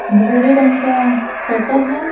भूरे रंग का शटर है।